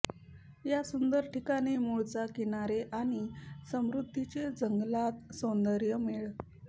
या सुंदर ठिकाणी मूळचा किनारे आणि समृद्धीचे जंगलात सौंदर्य मेळ